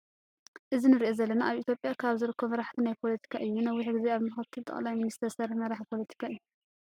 እዚ ንሪኦ ዘለና አበ ኢትጲያ ካብ ዝርከቡ መራሕቲ ናይ ፓሎቲካ እዩ። ንነዊሕ ግዜ አብ ምክትል መጥላይ ሚኒስትር ዝስርሐ መራሒ ፖሎቲካ እዩ።